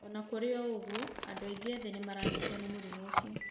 O na kũrĩ ũguo, andũ aingĩ ethĩ nĩ maranyitwo nĩ mũrimũ ũcio.